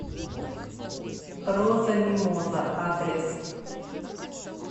роза мимоза адрес